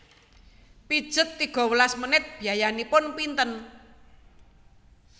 Pijet tiga welas menit biayanipun pinten